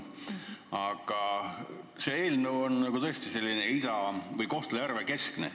Aga see eelnõu on tõesti selline Kohtla-Järve linna keskne.